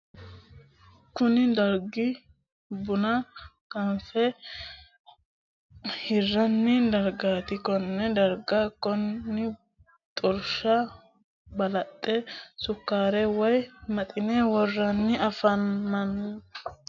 Kunni dargi bunna ganfe hiranni dargaati. Konne darga bunna xorsha balaxe sukaare woyi Maxine woranni afamano. Konni bunnu minnira albaanni hige kolisho doogo aanna hodhishu haranni no.